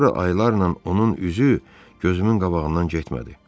Sonra aylarla onun üzü gözümün qabağından getmədi.